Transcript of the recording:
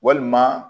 Walima